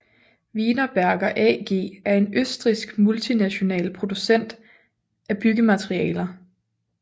Wienerberger AG er en østrigsk multinational producent af byggematerialer